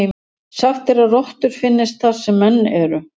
Sagt er að rottur finnist þar sem menn eru.